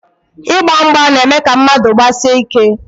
Ịgba mgba na-eme ka mmadụ gbasie ike.